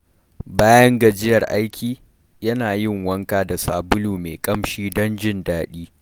Bayan gajiyar aiki, yana yin wanka da sabulu mai ƙamshi don jin daɗi.